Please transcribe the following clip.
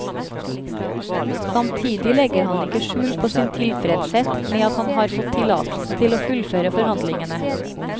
Samtidig legger han ikke skjul på sin tilfredshet med at han har fått tillatelse til å fullføre forhandlingene.